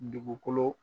Dugukolo